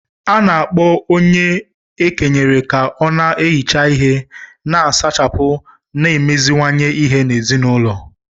A na-akpọ onye e kenyere ka ọ na-ehicha ihe, na-asachapụ na imeziwanye ihe n’ezinụlọ